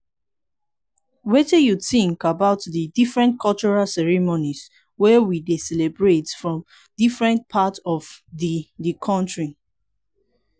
wetin you think about di different cultural ceremonies wey we dey celebrate for different part of di di country?